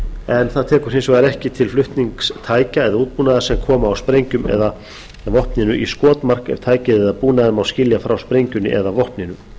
en það tekur hins vegar ekki til flutnings tækja eða útbúnaðar sem koma á sprengjum eða vopninu í skotmark tækið eða búnaðinn má skilja frá sprengjunni eða vopninu þörf er fyrir að